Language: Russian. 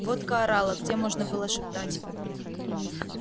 водка орала где можно было шептать